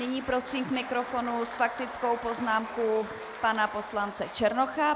Nyní prosím k mikrofonu s faktickou poznámkou pana poslance Černocha.